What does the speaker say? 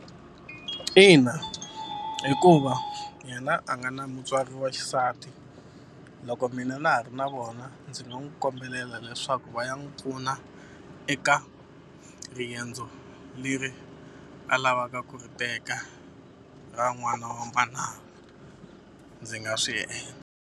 Ina hikuva yena a nga na mutswari wa xisati loko mina na ha ri na vona ndzi nga n'wu kombela leswaku va ya n'wu pfuna eka riendzo leri a lavaka ku ri teka ra n'wana ndzi nga swi .